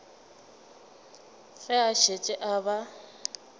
ge a šetše a ba